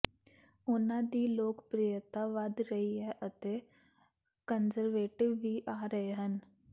ਉਨ੍ਹਾਂ ਦੀ ਲੋਕਪ੍ਰਿਯਤਾ ਵਧ ਰਹੀ ਹੈ ਅਤੇ ਕੰਜ਼ਰਵੇਟਿਵ ਵੀ ਆ ਰਹੇ ਹਨ